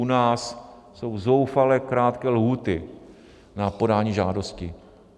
U nás jsou zoufale krátké lhůty na podání žádosti.